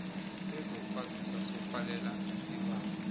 sezokwazisa sokwalela isibawo